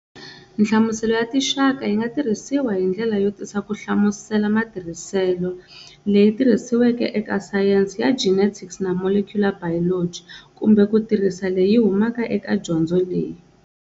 Nhlamuselo ya tinxaka yi nga tirhisiwa hi ndlela yo tisa ku hlamusela matirhisele leyi tirhisiweke eka sayense ya genetics na molecular biology, kumbe ku tirhiso leyi humaka eka dyondzo leyi.